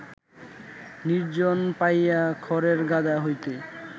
নির্জন পাইয়া খড়ের গাদা হইতে